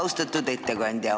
Austatud ettekandja!